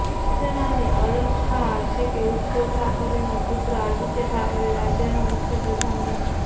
શિવસેનાની અબળખા છે કે ઉદ્ધવ ઠાકરેનો પુત્ર આદિત્ય ઠાકરે રાજ્યનો મુખ્ય પ્રધાન બને